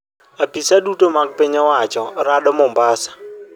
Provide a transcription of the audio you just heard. Apisa duto mag piny owacho rado Mombasa